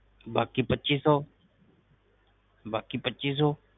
ਬਾਕੀ ਪੱਚੀ ਸੋ ਬਾਕੀ ਪੱਚੀ ਸੋ